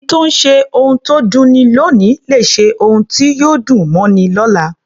Ẹni tó ṣe ohun tó dunni lóòní lè ṣe ohun tí yóò dùn mọ́ni lọ́la.